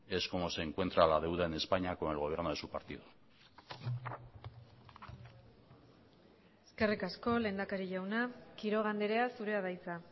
es como se encuentra la deuda en españa con el gobierno de su partido eskerrik asko lehendakari jauna quiroga andrea zurea da hitza